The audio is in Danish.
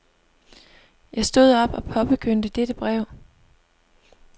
Jeg stod op og påbegyndte dette brev.